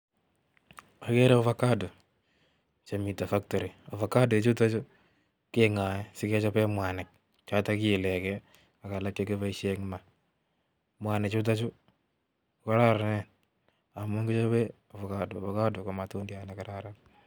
agere avocado chemitei factory. ovacado ichutachu kengae sikechopee mwanik chotok kiilege ak alak chekipoishe eng maa mwanik chutachu kokorononen amuu kichopee avocado. ovacado ko matundiat nekararan.